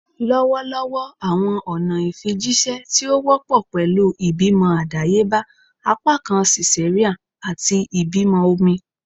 Lọwọlọwọ awọn ọna ifijiṣẹ ti o wọpọ pẹlu ibimọ adayeba, apakan cesarean, ati ibimọ omi